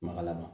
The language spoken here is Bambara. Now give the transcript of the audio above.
Makala ma